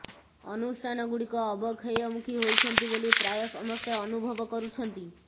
ଅନୁଷ୍ଠାନଗୁଡ଼ିକ ଅବକ୍ଷୟମୁଖୀ ହୋଇଛନ୍ତି ବୋଲି ପ୍ରାୟ ସମସ୍ତେ ଅନୁଭବ କରୁଛନ୍ତି